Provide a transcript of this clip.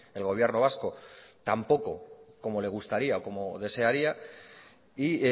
el gobierno vasco tampoco como le gustaría o como desearía y